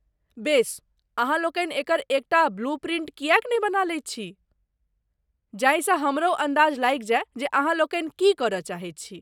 बेस, अहाँलोकनि एकर एकटा ब्लू प्रिन्ट किएक नहि बना लैत छी, जाहिसँ हमरहु अन्दाज लगितय जे अहाँलोकनि की करय चाहैत छी।